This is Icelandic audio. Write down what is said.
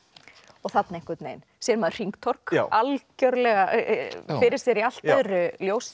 þarna einhvern veginn sér maður hringtorg algjörlega fyrir sér í allt öðru ljósi